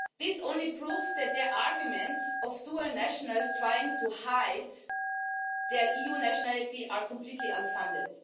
This only proves that their arguments about dual nationals trying to hide their EU nationality are completely unfounded.